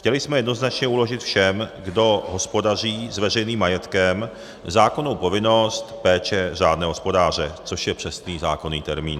Chtěli jsme jednoznačně uložit všem, kdo hospodaří s veřejným majetkem, zákonnou povinnost péče řádného hospodáře, což je přesný zákonný termín.